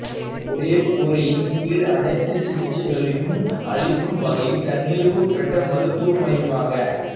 ஒரே கூரையின் கீழ் அனைத்து சிகிச்சைகளையும் அளிக்கும் வகையில் தன்னிறைவு பெற்ற மருத்துவ மையமாக க